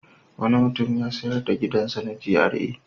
Wani mutum ya sayar da gidansa na GRA.